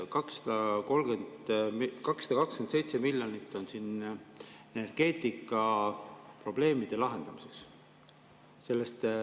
227 miljonit on siin energeetikaprobleemide lahendamiseks.